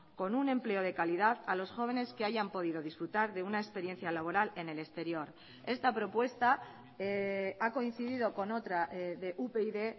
con un empleo de calidad a los jóvenes que hayan podido disfrutar de una experiencia laboral en el exterior esta propuesta ha coincidido con otra de upyd